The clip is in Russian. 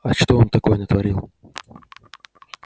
а что он такое натворил